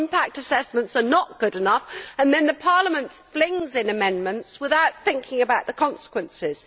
Our impact assessments are not good enough, and then Parliament flings in amendments without thinking about the consequences.